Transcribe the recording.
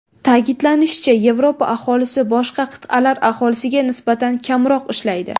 Ta’kidlanishicha, Yevropa aholisi boshqa qit’alar aholisiga nisbatan kamroq ishlaydi.